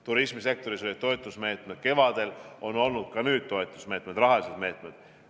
Turismisektoris olid toetusmeetmed kevadel, on olnud ka nüüd toetusmeetmed, rahalised meetmed.